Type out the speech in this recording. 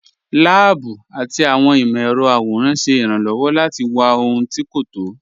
Láàbù àti awọn imọ̀-ẹrọ̀ àwòràn ṣẹ́ ìràn-lọ́wọ́ láti wà ọhun tí́ kò tọ́.